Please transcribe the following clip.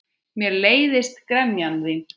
Mér leiðist gremja þín.